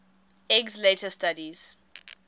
eggs later studies